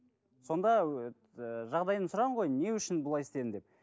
сонда ыыы жағдайын сұраған ғой не үшін бұлай істедің деп